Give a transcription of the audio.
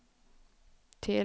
till